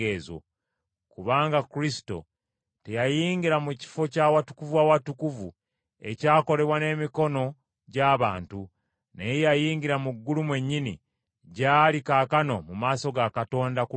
Kubanga Kristo teyayingira mu kifo kya Watukuvu w’Awatukuvu ekyakolebwa n’emikono gy’abantu, naye yayingira mu ggulu mwennyini gy’ali kaakano mu maaso ga Katonda ku lwaffe.